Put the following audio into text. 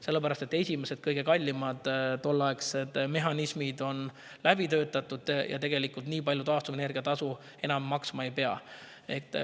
Sellepärast, et esimesed, kõige kallimad mehhanismid on läbi töötatud ja nii palju taastuvenergia tasu enam maksma ei pea.